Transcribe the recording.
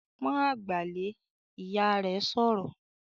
"Pọ́n àgbà lé!", Ìyá rẹ̀ sọ̀rọ̀